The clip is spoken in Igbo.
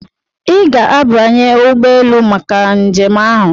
Ị ga-abanye ụgbọ elu maka njem ahụ!